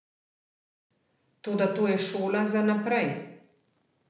Toda to je šola za naprej.